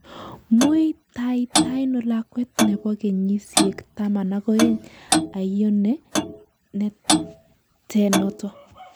Muitaitaiano lakwet nebo kenyishek 12 aiyo ne te noto